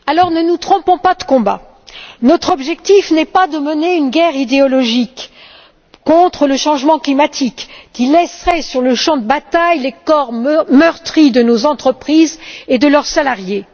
Ne nous trompons pas de combat notre objectif n'est pas de mener une guerre idéologique contre le changement climatique, qui laisserait sur le champ de bataille les corps meurtris de nos entreprises et de leurs salariés.